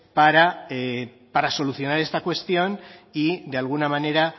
para solucionar esta cuestión y de alguna manera